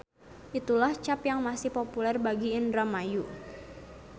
Itulah cap yang masih populer bagi Indramayu.